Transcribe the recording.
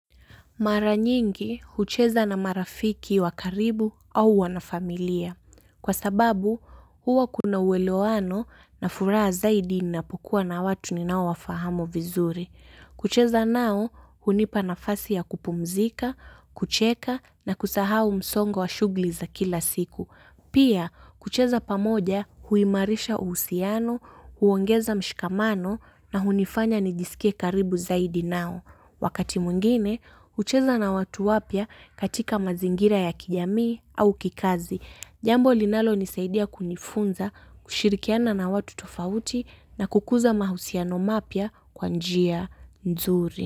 Mara nyingi hucheza na marafiki wa karibu au wanafamilia. Kwa sababu huwa kuna uelewano na furaha zaidi ninapokuwa na watu ninaowafahamu vizuri. Kucheza nao hunipa nafasi ya kupumzika, kucheka na kusahau msongo wa shughuli za kila siku. Pia, kucheza pamoja huimarisha uhusiano, huongeza mshikamano na hunifanya nijisikie karibu zaidi nao. Wakati mwingine, hucheza na watu wapya katika mazingira ya kijamii au kikazi. Jambo linalonisaidia kunifunza, kushirikiana na watu tofauti na kukuza mahusiano mapya kwa njia nzuri.